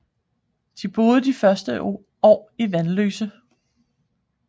De boede de første år i Vanløse